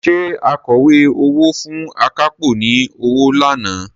Ṣé akọ̀wé owó fún akápò ni ọwọ́ lánàá?